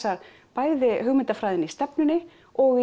bæði hugmyndafræðina í stefnunni og